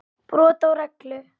Brot á reglu.